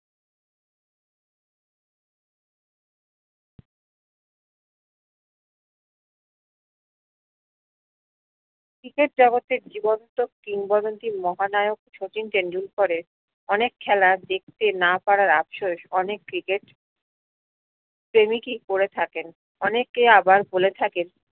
cricket জগৎ এর জীবন্ত কিংবদন্তি মহা নায়ক শচীন টেন্ডুলকাররে অনেক খেলার দেখতে না পারার আফসোস অনেক ক্রিকেট প্রেমিকি করে থাকেন অনেকে আবার বলে থাকে